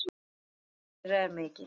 Missir þeirra er mikill.